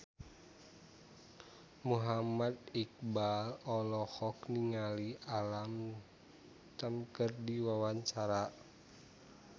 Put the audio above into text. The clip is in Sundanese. Muhammad Iqbal olohok ningali Alam Tam keur diwawancara